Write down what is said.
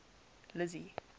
lizzy